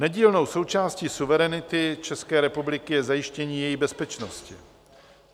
Nedílnou součástí suverenity České republiky je zajištění její bezpečnosti.